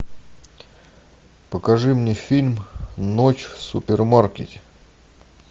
покажи мне фильм ночь в супермаркете